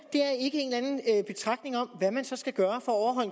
er betragtning om hvad man så skal gøre for at